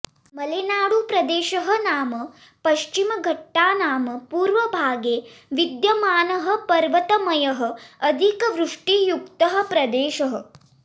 मलेनाडुप्रदेशः नाम पश्चिमघट्टानाम् पूर्वभागे विद्यमानः पर्वतमयः अधिकवृष्टियुक्तः प्रदेशः